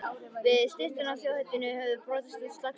Við styttuna af þjóðhetjunni höfðu brotist út slagsmál.